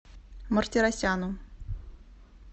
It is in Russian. мартиросяну